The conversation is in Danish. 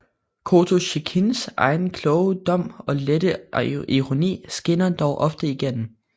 Kotosjikhins egen kloge dom og lette ironi skinner dog ofte igennem